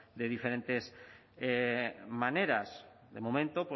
de diferentes maneras de momento